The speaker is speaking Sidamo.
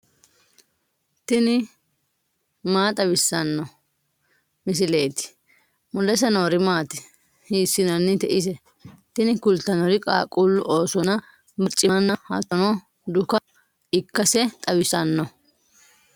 tini maa xawissanno misileeti ? mulese noori maati ? hiissinannite ise ? tini kultannori qaaqquullu ofollonna barcimanna hattono dukka ikkase xawissanno.